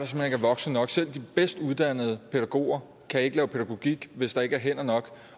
voksne nok selv de bedst uddannede pædagoger kan ikke lave pædagogik hvis ikke der er hænder nok